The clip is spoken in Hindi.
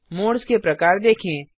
मोड्स के प्रकार देखें